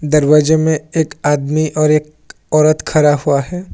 दरवाजे में एक आदमी और एक औरत खड़ा हुआ है।